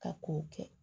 Ka kow kɛ